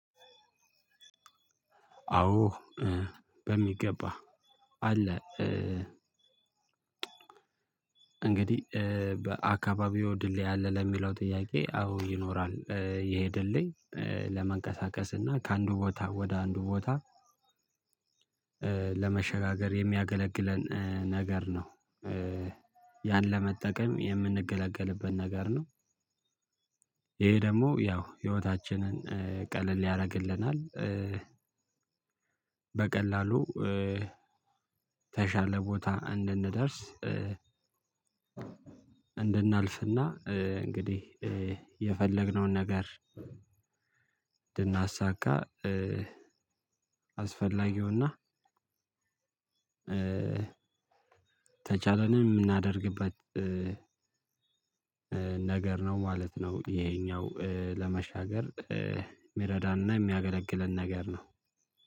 አዎ በሚገባ አለ። እንግዲህ በአካባቢዎ ድልድይ አለ ለሚለው ጥያቄ አዎ ይኖራል። ይሄ ድልድይ ለመንቀሳቀስ እና ከአንዱ ቦታ ወደ አንዱ ቦታ ለመሸጋገር የሚያገለግለን ነገር ነው። ያን ለመጠቀም የምንገለገልበት ነገር ነው። ይሄ ደግሞ ያው ህይወታችንን ቀለል ያደርግልናል። በቀላሉ ተሻለ ቦታ እንድንደርስ። እንድናልፍና እንግዲህ የፈለግነውን ነገር እንድናሳካ አስፈላጊውና የተቻለንን ምናረግበት ነገር ነው ማለት ነው። ይሄኛው ለመሻገር ሚረዳን እና ሚያገለግለን ነገር ነው።